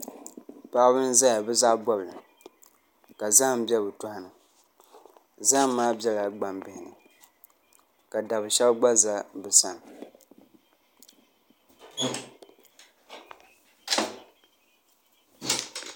Paɣaba n ʒɛya bi zaɣ bobli ka zaham bɛ bi tɔɣani zaham maa biɛla gbambihi ni ka dab shab gba ʒɛ bi sani